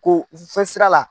Ko u bi fƆ fɛn sira la.